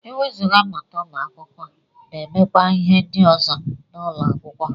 Ewezuga mmụta ụmụ akwụkwọ na-emekwa ihe ndị ọzọ n'ụlọ akwụkwọ